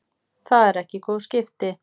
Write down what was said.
Það eru ekki góð skipti.